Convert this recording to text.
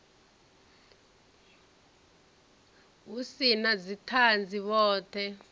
hu si na dzithanzi vhothe